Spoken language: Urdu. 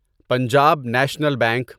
Punjab National bank